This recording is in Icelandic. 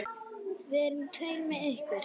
Við verðum tveir með ykkur.